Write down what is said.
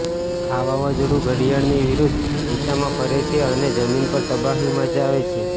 આ વાવઝોડુ ઘડિયાળની વિરુદ્ધ દિશામાં ફરે છે અને જમીન પર તબાહી મચાવે છે